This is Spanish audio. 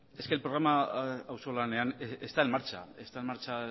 es que el programa auzolanean está en marcha está en marcha